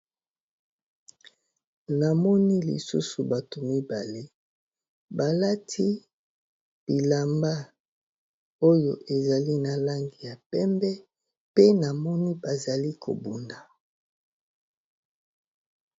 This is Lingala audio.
Na moni lisusu bato mibale balati bilamba oyo ezali na langi ya pembe pe na moni bazali kobunda.